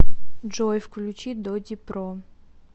джой включи додипро